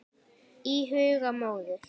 Í huga móður